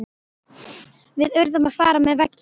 Við urðum að fara með veggjum.